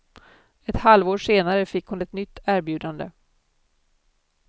Ett halvår senare fick hon ett nytt erbjudande.